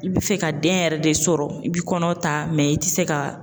I bɛ fɛ ka den yɛrɛ de sɔrɔ i bɛ kɔnɔ ta i tɛ se ka